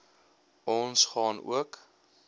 ons gaan ook